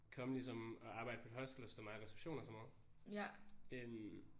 Kom ligesom og arbejd på et hostel og stå meget i reception og sådan noget øh